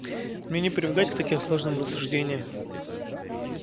мне не привыкать к таким сложным рассуждениям